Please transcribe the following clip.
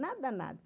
Nada, nada.